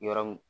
Yɔrɔ mun